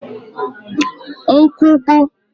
nkwugbu